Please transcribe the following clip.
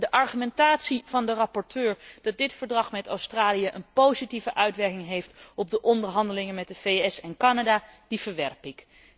De argumentatie van de rapporteur dat deze overeenkomst met Australië een positieve uitwerking heeft op de onderhandelingen met de VS en Canada, verwerp ik.